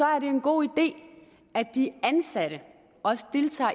er en god idé at de ansatte også deltager